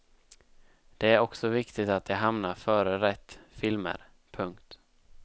Det är också viktigt att de hamnar före rätt filmer. punkt